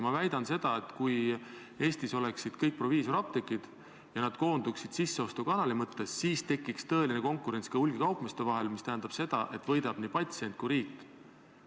Ma väidan, et kui Eestis oleksid ainult proviisorapteegid ja nad koonduksid sisseostukanali mõttes, siis tekiks tõeline konkurents ka hulgikaupmeeste vahel, mis tähendab seda, et võidavad nii patsient kui ka riik.